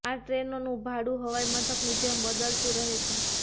આ ટ્રેનોનુ ભાડુ હવાઈ મથકની જેમ બદલતુ રહે છે